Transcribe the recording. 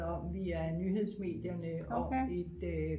om via nyhedsmedierne om et